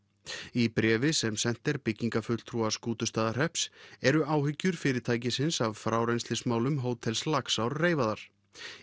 í bréfi sem sent er byggingarfulltrúa Skútustaðahrepps eru áhyggjur fyrirtækisins af frárennslismálum hótels Laxár reifaðar